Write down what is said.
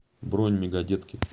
бронь мегадетки